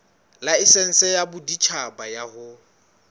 laesense ya boditjhaba ya ho